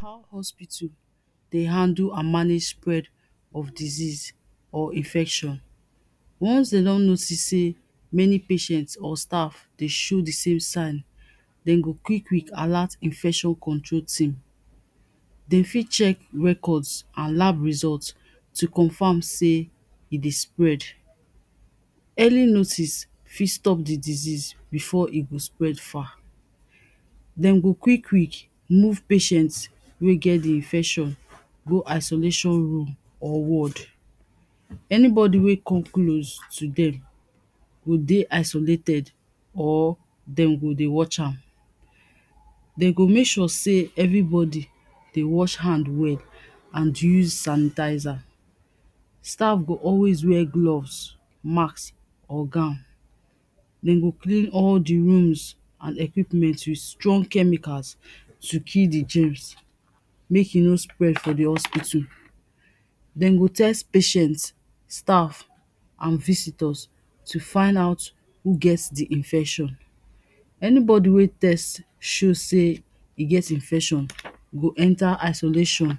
how hospital the handle and manage spread of disease or infection once de don notice say, many patients or staff de show the same sign them go quich quick alert infection control team de fit check records and lab result to confirm say, e de spread, early notice fit stop the disease before e go spread far. them go quick quick move patients wey get the infection go isolation room or wards anybody wey come close to them will de isolated or them go de wash am they go make sure say everybody de wash hand well and use sanitizer. staff fo always wear gloves, mask or gown them go clean all the rooms and equipment with strong chemicals to kill the germs make e no spread for the hospital them go test patients staff and visitors to find out who gets the infection. anybody wey test show say e get infection go enter isolation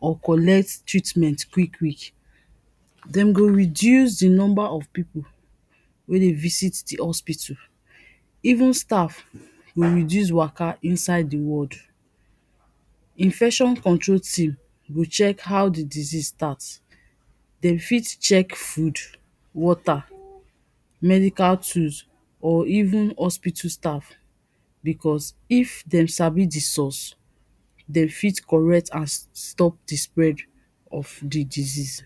or collect treatment quick quick them go reduce the number of people wey de visit the hospital even staff will reduce waka inside the ward. infection control team will how the disease starts. them fit check food, water, medical tools or even hospital staf because if them sabi the source, they fit correct and stop the spread of the disease